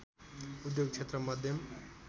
उद्योग क्षेत्र मध्यम